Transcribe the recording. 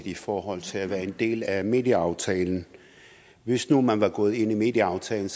i forhold til at være en del af medieaftalen hvis nu man var gået ind i medieaftalen